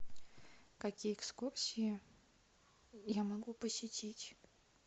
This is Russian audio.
какие экскурсии я могу посетить